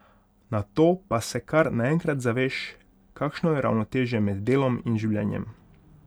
Nato pa se kar naenkrat zaveš, kakšno je ravnotežje med delom in življenjem.